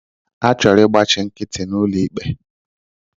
Achọrọ ịgbachi nkịtị n'ụlọ ikpe